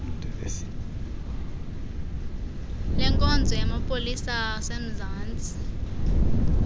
lenkonzo yamapolisa asemzantsi